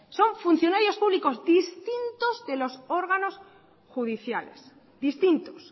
son funcionarios públicos distintos que los órganos judiciales distintos